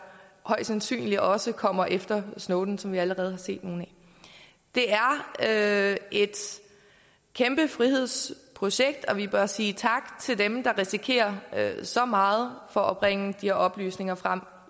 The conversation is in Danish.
højst sandsynligt også kommer efter snowden og som vi allerede har set nogle af det er et kæmpe frihedsprojekt og vi bør sige tak til dem der risikerer så meget for at bringe de her oplysninger frem